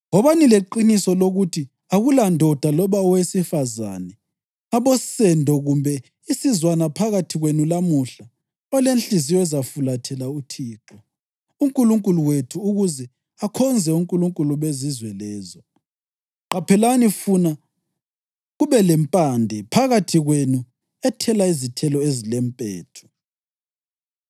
Wobani leqiniso lokuthi akulandoda loba owesifazane, abosendo kumbe isizwana phakathi kwenu lamuhla olenhliziyo ezafulathela uThixo uNkulunkulu wethu ukuze akhonze onkulunkulu bezizwe lezo; qaphelani funa kubelempande phakathi kwenu ethela izithelo ezilempethu.